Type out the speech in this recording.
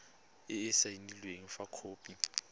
e e saenweng fa khopi